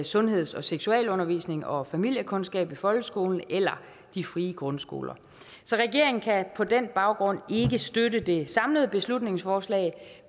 sundheds og seksualundervisning og familiekundskab i folkeskolen eller de frie grundskoler så regeringen kan på den baggrund ikke støtte det samlede beslutningsforslag